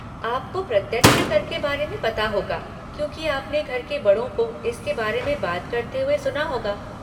आपको प्रत्यक्ष कर के बारे में पता होगा क्योंकि आपने घर के बड़ों को इसके बारे में बात करते हुए सुना होगा।